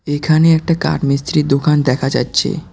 এইখানে একটা কাঠ মিস্ত্রির দোকান দেখা যাচ্ছে।